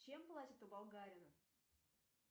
чем платят у болгарина